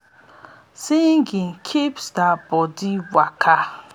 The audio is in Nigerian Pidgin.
singing keeps ya bodi waka and ya mind alert for di farm.